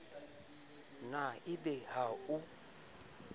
na e be ha o